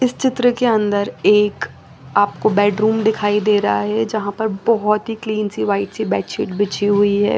इस चित्र के अन्दर एक आपको बेड रूम दिखाई दे रहा है जहा पर बोहोत ही क्लीन सी वाइट सी बेड शीट बिछी हुई है।